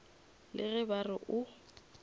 le ge ba re o